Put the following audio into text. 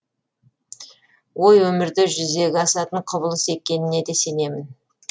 ой өмірде жүзеге асатын құбылыс екеніне де сенемін